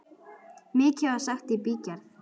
Mikið var sagt í bígerð.